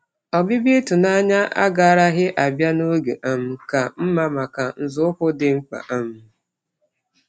Ọbịbịa ịtụnanya agaraghị abịa n'oge um ka mma maka nzọụkwụ dị mkpa um